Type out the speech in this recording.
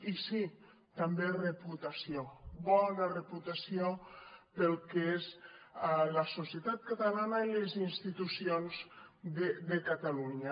i sí també reputació bona reputació pel que és la societat catalana i les institucions de catalunya